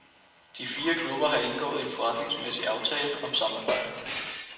De fire klubber har indgået en forretningsmæssig aftale om samarbejde.